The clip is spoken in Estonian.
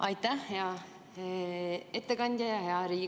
Aitäh, hea Riigikogu aseesimees!